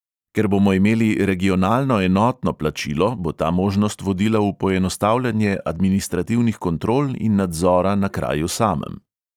Ker bomo imeli regionalno enotno plačilo, bo ta možnost vodila v poenostavljanje administrativnih kontrol in nadzora na kraju samem.